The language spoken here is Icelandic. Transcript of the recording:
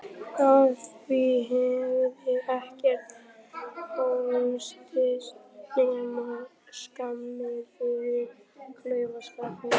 Af því hefði ekkert hlotist nema skammir fyrir klaufaskapinn.